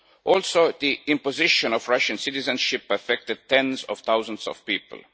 Also, the imposition of Russian citizenship has affected tens of thousands of people.